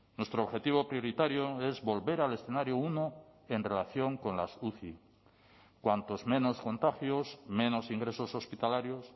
nuestro objetivo prioritario es volver al escenario uno en relación con las uci cuantos menos contagios menos ingresos hospitalarios